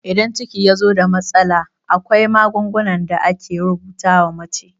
Idan ciki yazo da matsala, akwai magungunan da ake rubuta wa mace